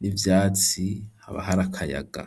n'ivyatsi habahari akayaga,